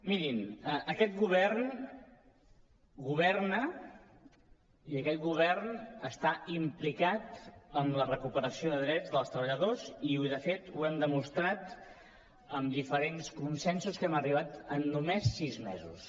mirin aquest govern governa i aquest govern està implicat en la recuperació de drets dels treballadors i de fet ho hem demostrat en diferents consensos a què hem arribat en només sis mesos